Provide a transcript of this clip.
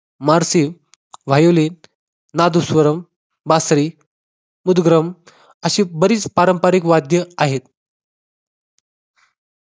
Morphine, violin, nadaswaram, बासरी, उद्ग्रम अशी बरीच पारंपारिक वाद्य आहेत.